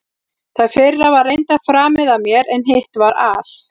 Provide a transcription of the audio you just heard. Það fyrra var reyndar framið af mér, en hitt var al